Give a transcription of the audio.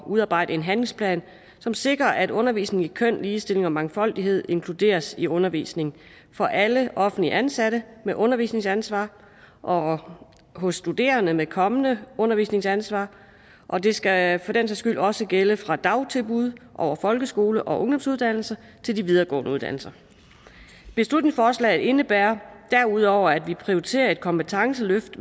udarbejde en handlingsplan som sikrer at undervisning i køn ligestilling og mangfoldighed inkluderes i undervisningen for alle offentligt ansatte med undervisningsansvar og for studerende med kommende undervisningsansvar og det skal for den sags skyld også gælde fra dagtilbud over folkeskoler og ungdomsuddannelser til de videregående uddannelser beslutningsforslaget indebærer derudover at vi skal prioritere et kompetenceløft